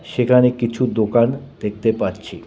সেখানে কিছু দোকান দেখতে পাচ্ছি।